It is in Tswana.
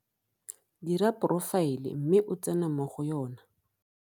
Dira porofaele mme o tsene mo go yona.